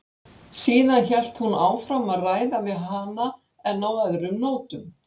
Síðan hélt hún áfram að ræða við hana en á öðrum nótum.